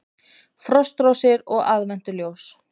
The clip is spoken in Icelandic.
Frostrósir og aðventuljós